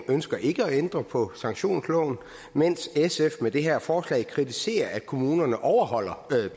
ønsker ikke at ændre på sanktionsloven mens sf med det her forslag kritiserer at kommunerne overholder